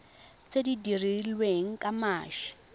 tse di dirilweng ka mashi